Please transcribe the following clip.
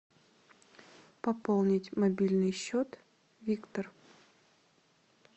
пополнить мобильный счет виктор